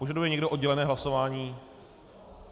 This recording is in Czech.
Požaduje někdo oddělené hlasování?